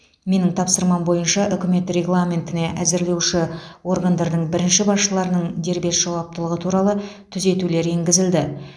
менің тапсырмам бойынша үкімет регламентіне әзірлеуші органдардың бірінші басшыларының дербес жауаптылығы туралы түзетулер енгізілді